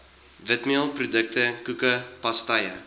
witmeelprodukte koeke pastye